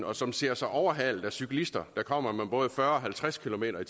og som ser sig overhalet af cyklister der kommer med både fyrre og halvtreds kilometer